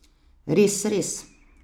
Res, res!